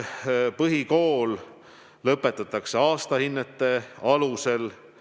Põhikool lõpetatakse aastahinnete alusel.